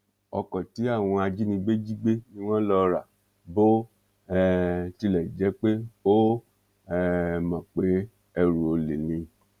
ọkọ tí àwọn ajínigbé jí gbé ni wọn lọ rà bó um tilẹ jẹ pé ó um mọ pé ẹrù olè ni